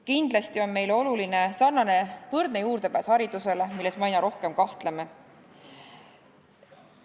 Kindlasti on meile oluline võrdne juurdepääs haridusele, milles me aina rohkem kahtleme.